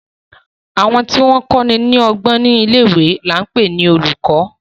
Àwọn tí wọ́n kọ́ni lọ́gbọ́n ní ilé-ìwé ni à ń pè ní olùkọ́.